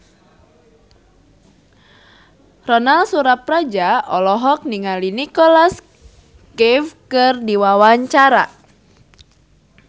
Ronal Surapradja olohok ningali Nicholas Cafe keur diwawancara